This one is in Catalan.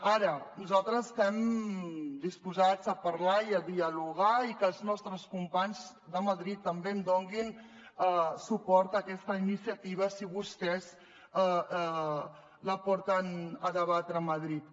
ara nosaltres estem disposats a parlar i a dialogar i que els nostres companys de madrid també donin suport a aquesta iniciativa si vostès la porten a debatre a madrid